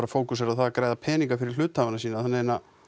fókusera á það að græða peninga fyrir hluthafana sína þannig að